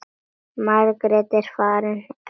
Margrét er eftir ein.